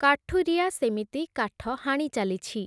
କାଠୁରିଆ ସେମିତି କାଠ ହାଣି ଚାଲିଛି ।